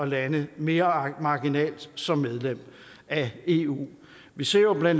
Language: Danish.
lande mere marginalt som medlem af eu vi ser jo bla